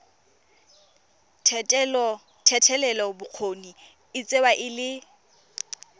thetelelobokgoni e tsewa e le